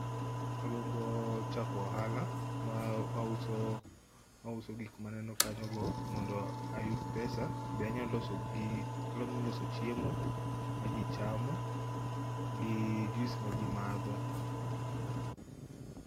Agombo chako ohala ma mauso mauso gik maneno kanyogo mondo ayud pesa. Be anyalo loso gi anyalo loso chiemo maji chamo gi juice ma jii madho.